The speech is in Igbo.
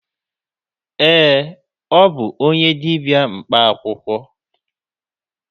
Ee, ọ bụ onye dibịa mkpa akwụkwọ.